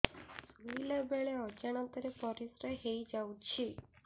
ଶୋଇଲା ବେଳେ ଅଜାଣତ ରେ ପରିସ୍ରା ହେଇଯାଉଛି